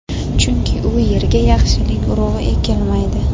chunki u yerga yaxshilik urug‘i ekilmaydi.